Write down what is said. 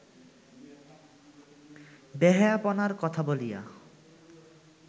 বেহায়াপনার কথা বলিয়া